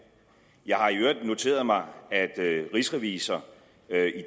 jeg har i øvrigt noteret mig at rigsrevisor